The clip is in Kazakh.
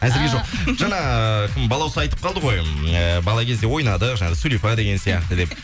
әзірге жоқ жаңа кім балауса айтып қалды ғой э бала кезде ойнадық жаңа сулифа деген сияқты деп